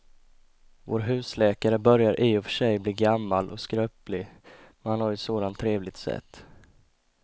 Vår husläkare börjar i och för sig bli gammal och skröplig, men han har ju ett sådant trevligt sätt!